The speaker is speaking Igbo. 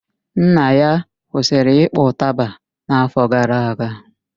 Nna ya kwụsịrị ịkpọ ụtaba n'afọ gara aga